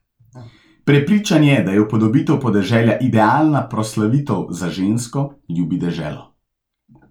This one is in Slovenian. Prepričan je, da je upodobitev podeželja idealna proslavitev za žensko, ljubi deželo.